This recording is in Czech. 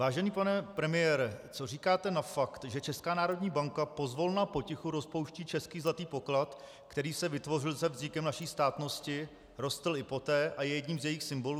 Vážený pane premiére, co říkáte na fakt, že Česká národní banka pozvolna potichu rozpouští český zlatý poklad, který se vytvořil se vznikem naší státnosti, rostl i poté a je jedním z jejích symbolů?